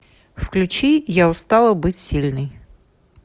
включи я устала быть сильной